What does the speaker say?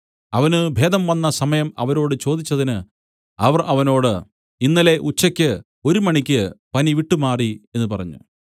അവന് ഭേദം വന്ന സമയം അവരോട് ചോദിച്ചതിന് അവർ അവനോട് ഇന്നലെ ഉച്ചയ്ക്ക് ഒരുമണിയ്ക്ക് പനി വിട്ടുമാറി എന്നു പറഞ്ഞു